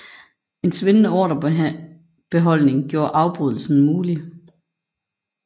En svindende ordrebeholdning gjorde afbrydelsen mulig